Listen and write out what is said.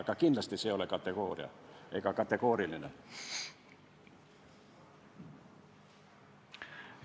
Aga kindlasti ei ole see kategooriline nõue.